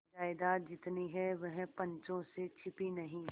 जायदाद जितनी है वह पंचों से छिपी नहीं